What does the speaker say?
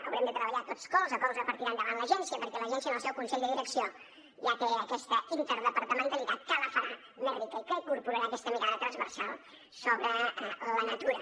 haurem de treballar tots colze a colze per tirar endavant l’agència perquè l’agència en el seu consell de direcció ja crea aquesta interdepartamentalitat que la farà més rica i que incorporarà aquesta mirada transversal sobre la natura